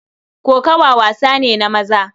Kokawa wasa ne na maza.